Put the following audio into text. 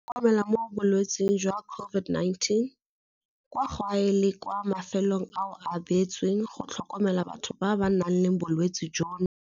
Go itlhokomela mo bolwetseng jwa COVID-19 - Kwa gae le kwa mafelong ao a beetsweng go tlhokomela batho ba ba nang le bolwetse jono.